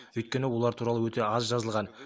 өйткені олар туралы өте аз жазылған